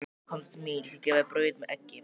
Komdu til mín, ég skal gefa þér brauð með eggi.